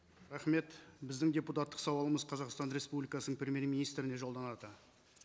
рахмет біздің депутаттық сауалымыз қазақстан республикасының премьер министріне жолданады